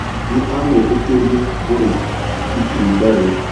Nĩ aamwĩtĩkĩririe kũrĩa itunda rĩu.